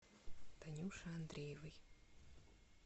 танюши андреевой